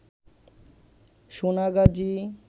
Sonagazi